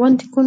Wanti kun